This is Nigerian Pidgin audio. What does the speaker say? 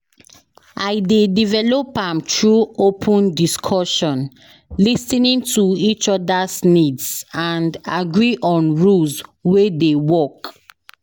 I dey develop am through open discussion, lis ten ing to each oda's needs and agree on rules wey dey work.